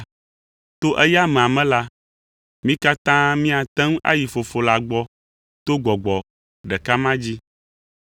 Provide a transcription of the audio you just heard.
To eya amea me la, mí katã míate ŋu ayi Fofo la gbɔ to Gbɔgbɔ ɖeka ma dzi.